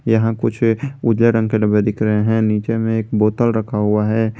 यहां कुछ उजले रंग के डब्बे दिख रहे हैं नीचे में एक बोतल रखा हुआ है।